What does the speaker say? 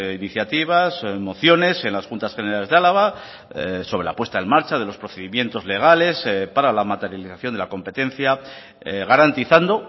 iniciativas mociones en las juntas generales de álava sobre la puesta en marcha de los procedimientos legales para la materialización de la competencia garantizando